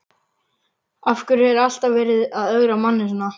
Af hverju er alltaf verið að ögra manni svona?